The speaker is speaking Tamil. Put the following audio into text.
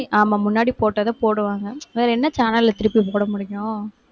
ஆமா முன்னாடி போட்டதை போடுவாங்க. வேற என்ன channel ல திருப்பிப் போட முடியும்?